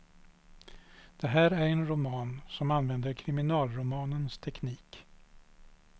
Det här är en roman som använder kriminalromanens teknik.